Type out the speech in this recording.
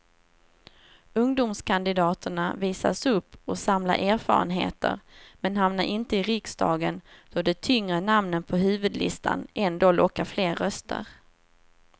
Ungdomskandidaterna visas upp och samlar erfarenheter men hamnar inte i riksdagen då de tyngre namnen på huvudlistan ändå lockar fler röster.